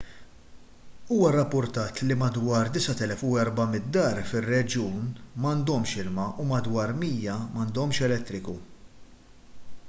huwa rrappurtat li madwar 9400 dar fir-reġjun m'għandhomx ilma u madwar 100 m'għandhomx elettriku